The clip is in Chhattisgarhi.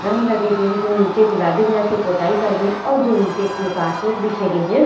रंग लगे गे हे जो नीचे गुलाबी कलर के पोताई करे गे हे और जो नीचे एक मे कारपेट बिछे गेहे।